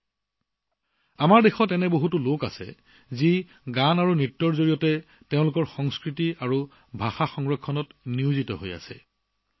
বন্ধুসকল আমাৰ দেশত নৃত্যসংগীতৰ জৰিয়তে নিজৰ সংস্কৃতিভাষা সংৰক্ষণৰ কামত জড়িত বহু লোক আছে